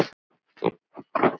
Við þurfum fleiri varin skot.